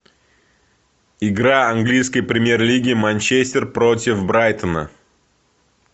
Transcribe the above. игра английской премьер лиги манчестер против брайтона